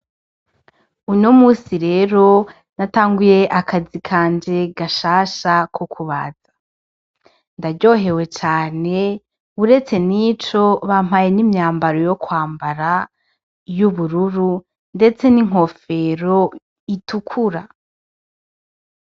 Uno munsi rero natanguye akazi kanje gashasha ko kubaza, ndaryohewe cane uretse nico bampaye n’imyambaro yo kwambara y'ubururu ndetse N’inkofero itukura.